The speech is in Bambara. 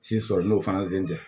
sɔrɔ n'o fana sen tɛ